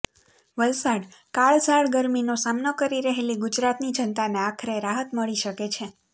વલસાડઃ કાળઝાળ ગરમીનો સામનો કરી રહેલી ગુજરાતની જનતાને આખરે રાહત મળી શકે છે